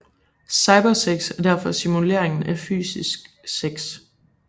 Cybersex er derfor simuleringen af fysisk sex